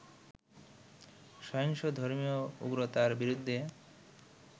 সহিংসত ধর্মীয় উগ্রতার বিরুদ্ধে